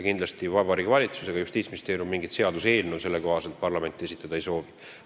Sel juhul Vabariigi Valitsus ega Justiitsministeerium mingit sellekohast seaduseelnõu parlamendile esitada ei soovi.